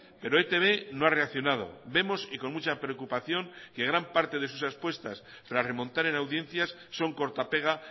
pero etb no ha reaccionado vemos y con mucha preocupación que gran parte de sus expuestas para remontar en audiencias son corta pega